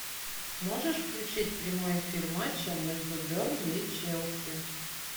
можешь включить прямой эфир матча между бернли и челси